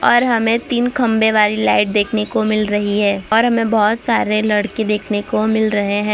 और हमे तीन खम्भे वाली लाइट देखने को मिल रही है और हमे बहोत सारे लड़के देखने को मिल रहे है।